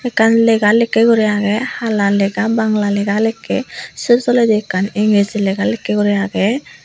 ekkan lega lekkey guri agey hala lega bangala lega lekkey sey toleydi ekkan engiriji lega lekkey guri agey.